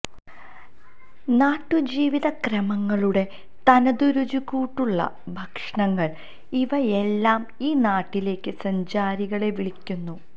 നാട്ടുജീവിത ക്രമങ്ങളുടെ തനതു രുചിക്കൂട്ടുള്ള ഭക്ഷണങ്ങള് ഇവയെല്ലാം ഈ നാട്ടിലേക്ക് സഞ്ചാരികളെ വിളിക്കുന്നു